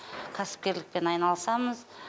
кәсіпкерлікпен айланысамыз